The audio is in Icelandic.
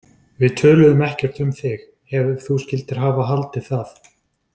Við töluðum ekkert um þig, ef þú skyldir hafa haldið það.